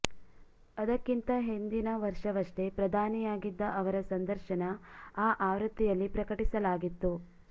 ಅದಕ್ಕಿಂತ ಹಿಂದಿನ ವರ್ಷವಷ್ಟೇ ಪ್ರಧಾನಿಯಾಗಿದ್ದ ಅವರ ಸಂದರ್ಶನ ಆ ಆವೃತ್ತಿಯಲ್ಲಿ ಪ್ರಕಟಿಸಲಾಗಿತ್ತು